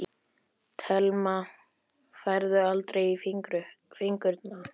Telma: Færðu aldrei í fingurna?